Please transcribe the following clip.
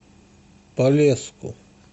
полесску